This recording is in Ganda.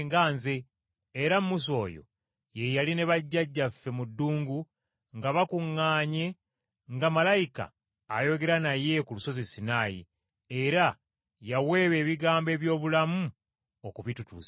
Era Musa oyo ye yali ne bajjajjaffe mu ddungu nga bakuŋŋaanye nga malayika ayogera naye ku lusozi Sinaayi, era yaweebwa ebigambo eby’obulamu okubitutuusaako.